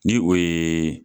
Ni o ye